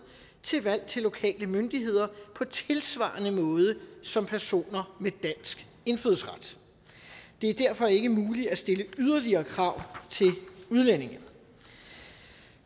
til valg til lokale myndigheder på tilsvarende måde som personer med dansk indfødsret det er derfor ikke muligt at stille yderligere krav til udlændinge